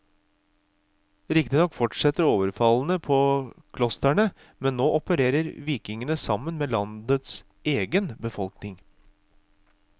Riktignok fortsetter overfallene på klosterne, men nå opererer vikingene sammen med landets egen befolkning.